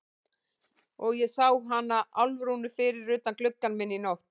Og ég sá hana Álfrúnu fyrir utan gluggann minn í nótt.